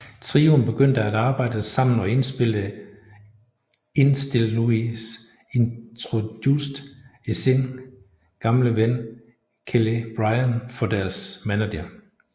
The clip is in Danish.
Trioen begyndte at arbejde samme og indspille indstil Louise introducered esin gamle ven Kéllé Bryan for deres manager